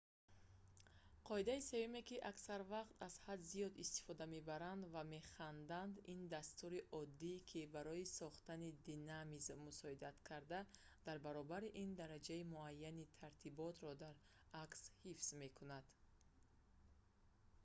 қоидаи сеюме ки аксар вақт аз ҳад зиёд истифода мебаранд ва механданд - ин дастури оддӣ ки барои схтани динамизм мусоидат карда дар баробари ин дараҷаи муайяни тартиботро дар акс ҳифз мекунад